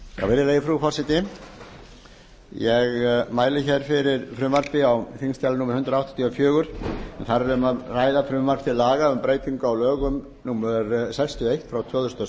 virðulega frú forseti ég mæli hér fyrir frumvarpi á þingskjali númer hundrað áttatíu og fjögur en þar er um að ræða frumvarp til laga um breytingu á lögum númer sextíu og eitt tvö þúsund og